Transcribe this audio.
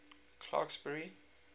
clarksburry